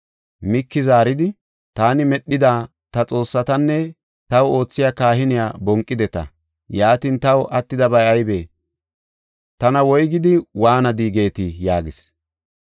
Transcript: Miiki zaaridi, “Taani medhida ta xoossatanne taw oothiya kahiniya bonqideta. Yaatin taw attidabay aybee? Tana, ‘Woygidi waanadi, geetii?’ ” yaagis.